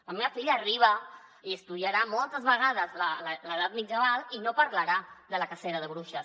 la meva filla arriba i estudiarà moltes vegades l’edat mitjana i no parlarà de la cacera de bruixes